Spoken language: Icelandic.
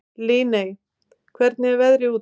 Líney, hvernig er veðrið úti?